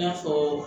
I n'a fɔ